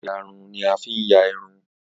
Ìyarun ni a fi ń ya irun